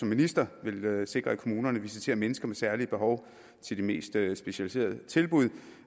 minister ville sikre at kommunerne visiterer mennesker med særlige behov til de mest specialiserede tilbud